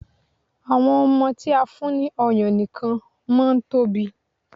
Àwọn ọmọ tí a fún ní ọyàn nìkan máa ń tóbi.